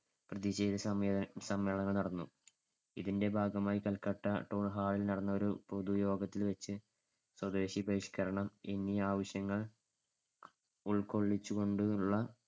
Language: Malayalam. പ്രതിഷേധ സമ്മേ~ സമ്മേളനം നടന്നു. ഇതിന്‍ടെ ഭാഗമായി കൽക്കട്ട town hall ൽ നടന്ന ഒരു പൊതുയോഗത്തിൽവെച്ചു സ്വദേശി ബഹിഷ്‌കരണം എന്നീ ആവശ്യങ്ങൾ ഉൾകൊള്ളിച്ചു കൊണ്ടുള്ള